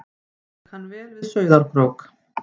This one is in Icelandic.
Ég kann vel við Sauðárkrók.